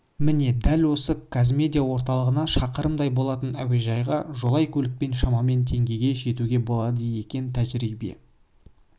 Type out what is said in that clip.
міне дәл осы қазимедиа орталығынан шақырымдай болатын әуежайға жолай көлікпен шамамен теңгеге жетуге болады екен тәжірибе